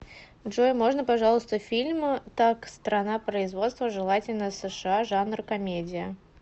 джой можно пожалуйста фильм так страна производства желательно сша жанр комедия